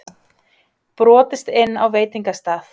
Brotist inn á veitingastað